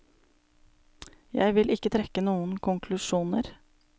Jeg vil ikke trekke noen konklusjoner.